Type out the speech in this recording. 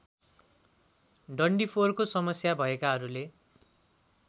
डन्डीफोरको समस्या भएकाहरूले